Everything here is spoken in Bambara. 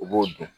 U b'o dun